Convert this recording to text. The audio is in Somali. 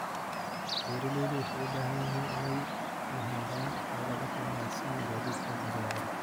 Beeraleydu waxay u baahan yihiin inay lahaadaan xeelado ka wanagsan gaadiidka badeecadaha.